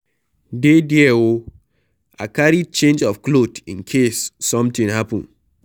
Dey there oo, I carry change of cloth in case something happen